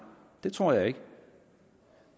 det tror jeg ikke